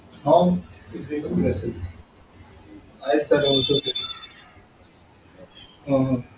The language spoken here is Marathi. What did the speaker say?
ती शाळा म्हणजे, आमची सर्वात प्रेमाची शाळा म्हणजे ती आमची आदिवासी शाळा.